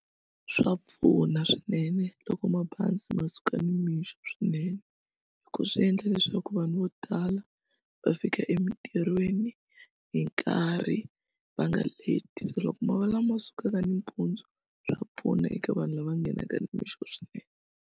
Swa pfuna swinene loko mabazi ma suka nimixo swinene hi ku swi endla leswaku vanhu vo tala va fika emintirhweni hi nkarhi va nga leti se loko ma va lama ma sukaka nimpundzu swa pfuna eka vanhu lava nghenaka nimixo swinene.